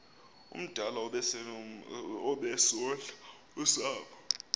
omdala obesondla usapho